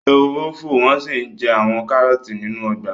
Ehoro ń fò wọ́n sì ń jẹ àwọn kárọ̀ọ̀tì nínú ọgbà